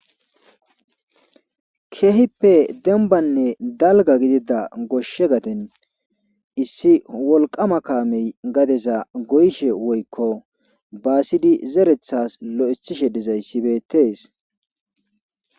Keehippe dembbanne dalgga gidida goshe gaden issi wolqqaama kaamey gadeza goyishe woykko baasidi zerethaas loythishe dizayssi beetees.